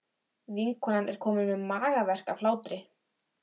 Vinkonan er komin með magaverk af hlátri.